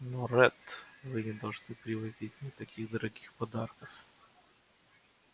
но ретт вы не должны привозить мне таких дорогих подарков